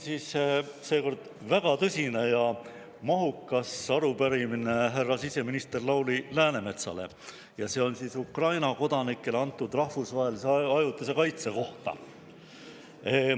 Mul on seekord väga tõsine ja mahukas arupärimine siseminister härra Lauri Läänemetsale ja see on Ukraina kodanikele antud ajutise rahvusvahelise kaitse kohta.